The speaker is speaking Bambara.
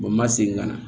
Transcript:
n ma segin ka na